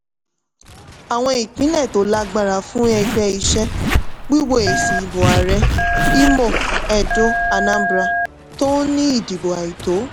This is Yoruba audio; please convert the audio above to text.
àwọn ìpínlẹ̀ tó lágbára fún ẹgbẹ́ iṣẹ́ wíwo èsì ìbò ààrẹ̀ imo edo anambra tó ń ní ìdìbò àìtó.